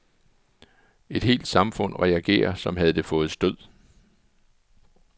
Et helt samfund reagerer som havde det fået stød.